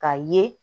Ka ye